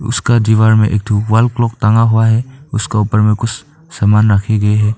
उसका दीवार में एक ठो वॉल क्लॉक टांगा हुआ है उसके ऊपर में कुछ सामान रखे गए हैं।